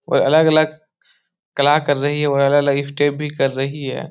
और अलग-अलग कला कर रही है और अलग-अलग स्टेप भी कर रही है।